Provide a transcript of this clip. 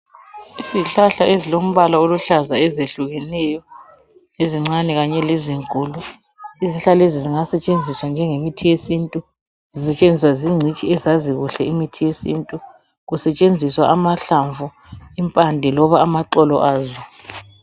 Izihlahla ezilombala oluhlaza ezehlukeneyo ezincane kanye lezinkulu. Izihlahla lezi zingasetshenziswa njenge mithi yesintu, zisetshenziswa zingcitshi ezazi kuhle imithi yesintu. Kusetshenziswa amahlamvu, impande loba amaxolo azo.